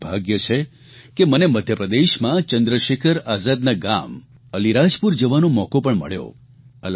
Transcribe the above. મારૂં સદભાગ્ય છે કે મને મધ્યપ્રદેશમાં ચંદ્રશેખર આઝાદના ગામ અલિરાજપુર જવાનો મોકો પણ મળ્યો